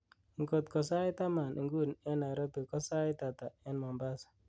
ing'ot ko sait taman inguni en nairobi ko tos sait ata en mombasa